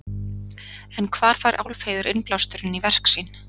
En hvar fær Álfheiður innblásturinn í verk sín?